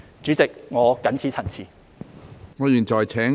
主席，我謹此陳辭。